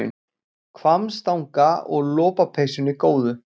Hvammstanga og lopapeysunni góðu.